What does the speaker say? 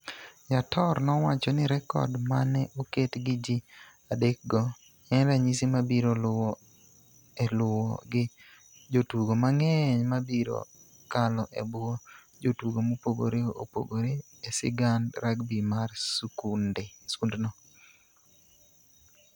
Yator nowacho ni rekod ma ne oket gi ji adekgo en ranyisi mabiro luwo e luwo gi jotugo mang'eny ma biro kalo e bwo jotugo mopogore opogore e sigand rugby mar skundno.